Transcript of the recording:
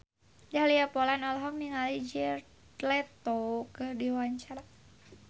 Dahlia Poland olohok ningali Jared Leto keur diwawancara